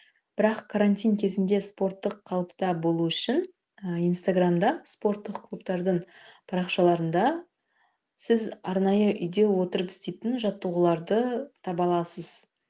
бірақ карантин кезінде спорттық қалыпта болу үшін ы инстаграмда спорттық клубтардың парақшаларында сіз арнайы үйде отырып істейтін жаттығуларды таба аласыз